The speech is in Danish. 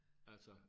Altså